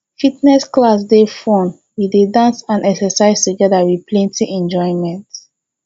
fitness class dey fun we dey dance and exercise together with plenty enjoyment